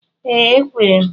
Ee ekwere m.